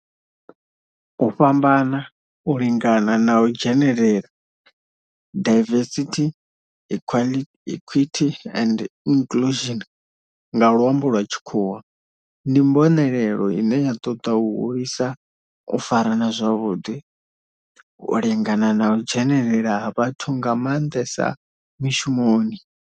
U fhambana, u lingana na u dzhenelela, diversity, equity and inclusion nga luambo lwa tshikhuwa, ndi mbonelelo ine ya toda u hulisa u farana zwavhudi, u lingana na u dzhenelela ha vhathu nga mandesa mishumoni.